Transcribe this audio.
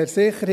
der SiK.